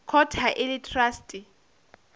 court ha e le traste